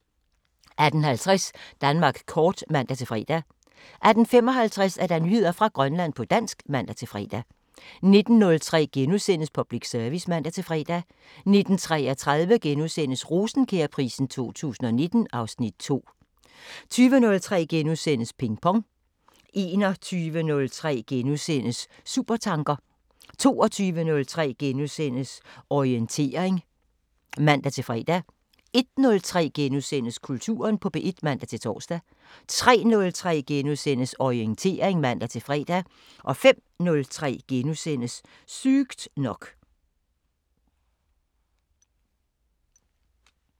18:50: Danmark kort (man-fre) 18:55: Nyheder fra Grønland på dansk (man-fre) 19:03: Public Service *(man-fre) 19:33: Rosenkjærprisen 2019 (Afs. 2)* 20:03: Ping Pong * 21:03: Supertanker 22:03: Orientering *(man-fre) 01:03: Kulturen på P1 *(man-tor) 03:03: Orientering *(man-fre) 05:03: Sygt nok *